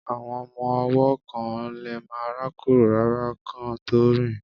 Àwọn ọmọ ọwọ́ kán lemá rákórò rárá kán tó rìn